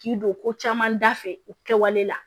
K'i don ko caman da fɛ u kɛwale la